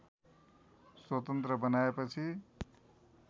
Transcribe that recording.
स्वतन्त्र बनाएपछि